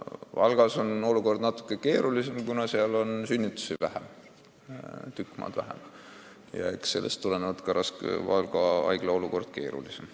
Valgas on olukord natuke keerulisem, kuna seal on sünnitusi tükk maad vähem ja just sellest tulenevalt seis haiglas keerulisem.